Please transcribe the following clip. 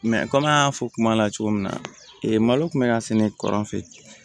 kɔmi an y'a fɔ kuma la cogo min na malo kun bɛ ka sɛnɛ kɔrɔ fɛ